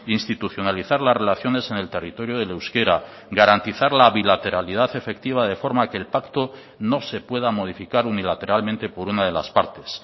institucionalizar las relaciones en el territorio del euskera garantizar la bilateralidad efectiva de forma que el pacto no se pueda modificar unilateralmente por una de las partes